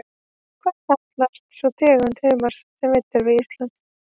Hvað kallast sú tegund humars sem veidd er við Ísland?